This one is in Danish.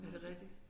Er det rigtig?